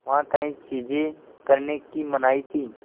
वहाँ कई चीज़ें करने की मनाही थी